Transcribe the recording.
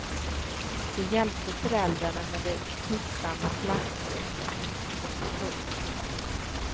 De hjälpte föräldrarna med det slitsamma lantbruket. punkt